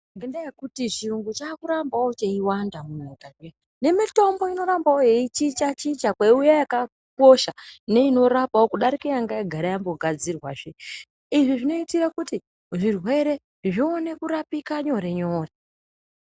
Ngenda yekuti chirungu munyika dzedu nemitombo inorambawo yeichicha chicha kweiuya yakakosha neinorapa kudarika yanga yagara yeigadzirwa Izvi zvinoitirwa zvirwere zvati kure zvione kurapika nyore nyore.